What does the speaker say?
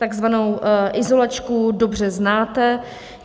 Takzvanou izolačku dobře znáte.